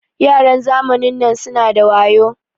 Yaran zamanin nan suna da wayo.